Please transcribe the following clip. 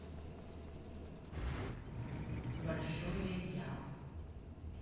большое я